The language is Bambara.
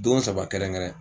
Don saba kɛrɛnkɛrɛn.